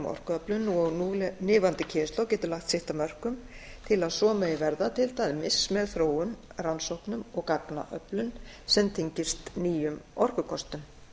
orkuöflun og núlifandi kynslóð getur lagt sitt af mörkum til að svo megi verða til dæmis með þróun rannsóknum og gagnaöflun sem tengist nýjum orkukostum